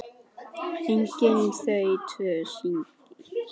Eiga þau tvo syni.